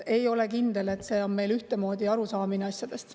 Ei ole kindel, et meil on ühtemoodi arusaamine asjadest.